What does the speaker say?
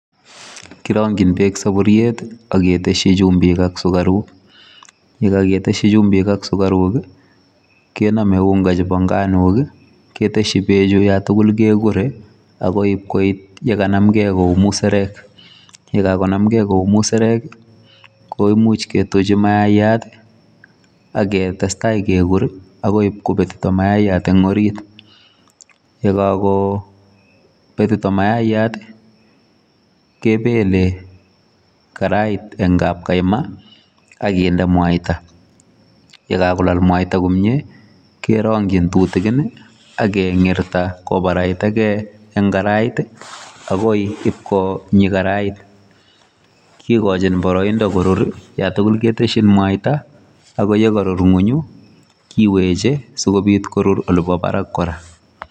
Kirong'jin bek saburiet aketesie jumbik ak sukaruk. Yeekaketeshi jumbik ak sukaruk kenamei unga jebo nganuk keteshi bechu yatukul kekurei akoi ipkoit yekanamgei kou muserek. Yekakonamgei kou muserek kouimuch ketuchi mayaiyat aketestai kekur akoi ibkobetito mayaiyat eng orit. Yekakobetito mayaiyat kebele karait eng kapkaima akinde mwaita. Yekakolal mwaita komie kerong'jin tutikin akeng'irta kobaraitagei eng karait akoi ipkonyi karait. Kikojin boroindo korur yatukul keteshin mwaita ako yekarur ng'onyu kiwechei sikobit korur olebo barak kora.